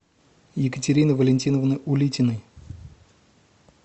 екатерины валентиновны улитиной